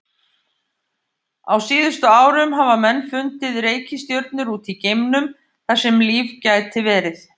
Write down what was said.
Á síðustu árum hafa menn fundið reikistjörnur út í geimnum þar sem líf gæti verið.